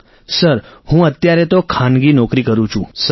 Rajesh Prajapati sir હું અત્યારે તો ખાનગી નોકરી કરું છું